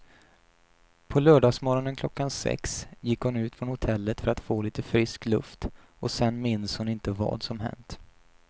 På lördagsmorgonen klockan sex gick hon ut från hotellet för att få lite frisk luft och sen minns hon inte vad som hänt.